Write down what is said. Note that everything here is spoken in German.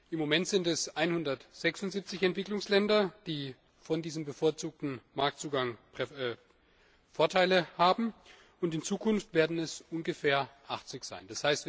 Im Moment sind es 176 Entwicklungsländer, die von diesem bevorzugten Marktzugang Vorteile haben, und in Zukunft werden es ungefähr 80 sein.